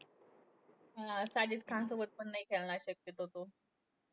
हा साजिद खानसोबत पण नाही खेळणार शक्यतो तो.